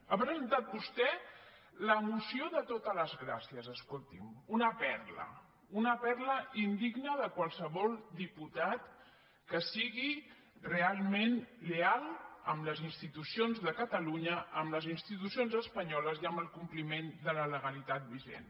ha presentat vostè la moció de totes les gràcies escolti’m una perla una perla indigna de qualsevol diputat que sigui realment lleial amb les institucions de catalunya amb les institucions espanyoles i amb el compliment de la legalitat vigent